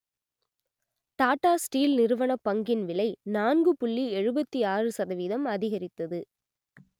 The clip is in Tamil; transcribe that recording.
டாடா ஸ்டீல் நிறுவனப் பங்கின் விலை நான்கு புள்ளி எழுபத்தி ஆறு சதவீதம் அதிகரித்தது